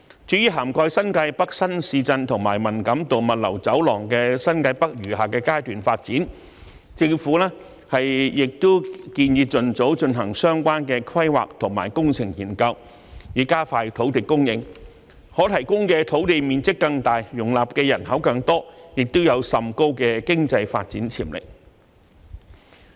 至於涵蓋新界北新市鎮和文錦渡物流走廊的新界北餘下階段發展，政府亦建議盡早進行相關規劃和工程研究，以加快土地供應，可提供的土地面積更大，容納的人口更多，亦有甚高的經濟發展潛力。